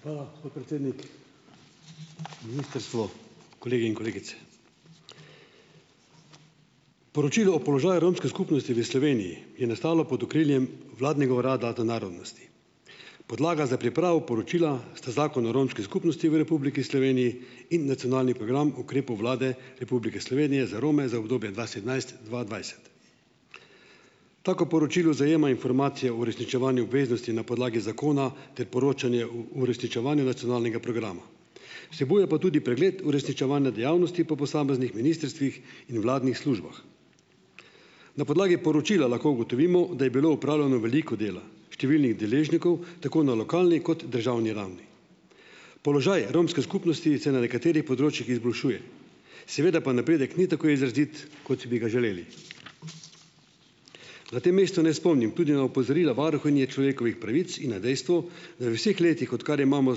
Hvala, podpredsednik. Ministrstvo, kolegi in kolegice. Poročilo o položaju romske skupnosti v Sloveniji je nastalo pod okriljem vladnega urada za narodnost. Podlaga za pripravo poročila sta Zakon o romski skupnosti v Republiki Sloveniji in nacionalni program ukrepov Vlade Republike Slovenije za Rome za obdobje dva sedemnajst-dva dvajset. Tako poročilo zajema informacije o uresničevanju obveznosti na podlagi zakona ter poročanje o uresničevanju nacionalnega programa, vsebuje pa tudi pregled uresničevanja dejavnosti po posameznih ministrstvih in vladnih službah. Na podlagi poročila lahko ugotovimo, da je bilo opravljeno veliko dela številnih deležnikov, tako na lokalni kot državni ravni. Položaj romske skupnosti se na nekaterih področjih izboljšuje, seveda pa napredek ni tako izrazit, kot bi ga želeli. Na tem mestu naj spomnim tudi na opozorila varuhinje človekovih pravic in na dejstvo, da v vseh letih, odkar imamo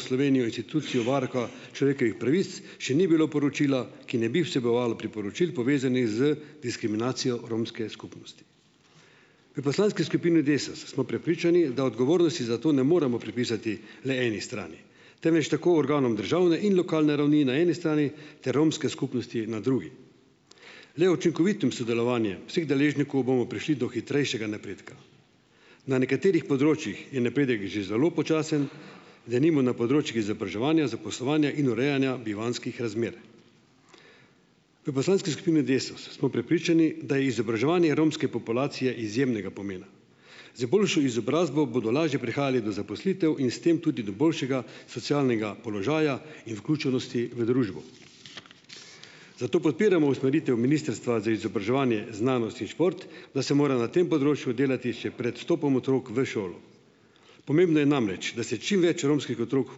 Slovenijo institucijo varuha človekovih pravic, še ni bilo poročila, ki ne bi vsebovalo priporočil, povezanih z diskriminacijo romske skupnosti. V poslanski skupini Desus smo prepričani, da odgovornosti za to ne moremo pripisati le eni strani, temveč tako organom državne in lokalne ravni na eni strani ter romske skupnosti na drugi. Le učinkovitim sodelovanjem vseh deležnikov bomo prišli do hitrejšega napredka. Na nekaterih področjih je napredek že zelo počasen, denimo na področjih izobraževanja, zaposlovanja in urejanja bivanjskih razmer. V poslanski skupini Desus smo prepričani, da je izobraževanje romske populacije izjemnega pomena. Z boljšo izobrazbo bodo lažje prihajali do zaposlitev in s tem tudi do boljšega socialnega položaja in vključenosti v družbo. Zato podpiramo usmeritev Ministrstva za izobraževanje, znanost in šport, da se mora na tem področju delati še pred vstopom otrok v šolo. Pomembno je namreč, da se čim več romskih otrok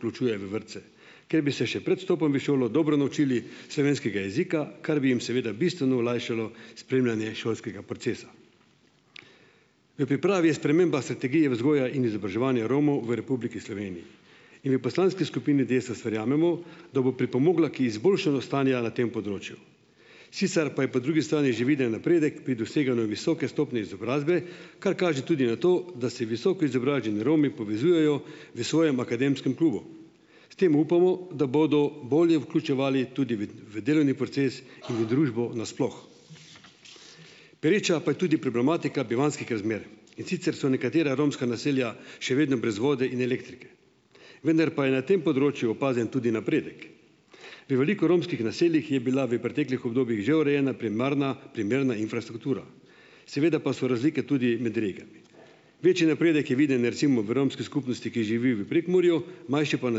vključuje v vrtce, ker bi se še pred vstopom v šolo dobro naučili slovenskega jezika, kar bi jim seveda bistveno olajšalo spremljanje šolskega procesa. V pripravi je sprememba strategije vzgoja in izobraževanje Romov v Republiki Sloveniji in v poslanski skupini Desus verjamemo, da bo pripomogla k izboljšanju stanja na tem področju. Sicer pa je po drugi strani že viden napredek pri doseganju visoke stopnje izobrazbe, kar kaže tudi na to, da se visoko izobraženi Romi povezujejo v svojem akademskem klubu. S tem upamo, da bodo bolje vključevali tudi v v delovni proces in v družbo nasploh. Pereča pa je tudi problematika bivanjskih razmer, in sicer so nekatera romska naselja še vedno brez vode in elektrike, vendar pa je na tem področju opazen tudi napredek. V veliko romskih naseljih je bila v preteklih obdobjih že urejena primarna primerna infrastruktura, seveda pa so razlike tudi med regijami. Večji napredek je viden recimo v romski skupini, ki živi v Prekmurju, manjši pa na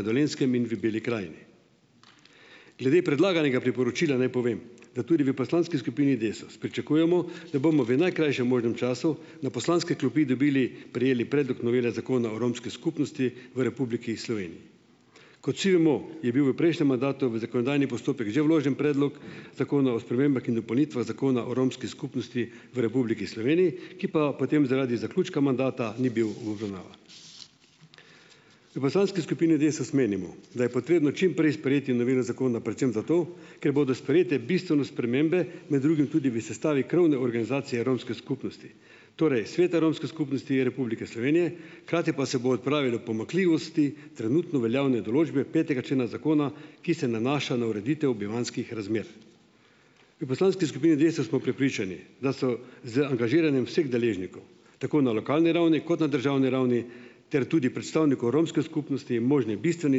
Dolenjskem in v Beli Krajini. Glede predlaganega priporočila naj povem, da tudi v poslanski skupini Desus pričakujemo, da bomo v najkrajšem možnem času na poslanske klopi dobili, prejeli predlog novele Zakona o romski skupnosti v Republiki Sloveniji. Kot vsi vemo, je bil v prejšnjem mandatu v zakonodajni postopek že vložen predlog Zakona o spremembah in dopolnitvah Zakona o romski skupnosti v Republiki Sloveniji, ki pa potem zaradi zaključka mandata ni bil v obravnavan. V poslanski skupini Desus menimo, da je potrebno čim prej sprejeti novelo zakona predvsem zato, ker bodo sprejete bistvene spremembe, med drugim tudi v sestavi krovne organizacije romske skupnosti. Torej, Sveta romske skupnosti Republike Slovenije, hkrati pa se bo odpravilo pomanjkljivosti trenutno veljavne določbe petega člena zakona, ki se nanaša na ureditev bivanjskih razmer. V poslanski skupini Desus smo prepričani, da so z angažiranjem vseh deležnikov, tako na lokalni ravni kot na državni ravni, ter tudi predstavnikov romske skupnosti, možne bistvene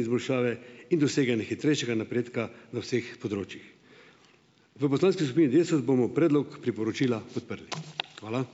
izboljšave in doseganje hitrejšega napredka na vseh področjih. V poslanski skupini Desus bomo predlog priporočila podprli. Hvala.